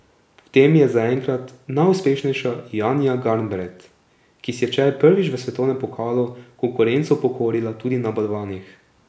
V tem je zaenkrat najuspešnejša Janja Garnbret, ki si je včeraj prvič v svetovnem pokalu konkurenco pokorila tudi na balvanih.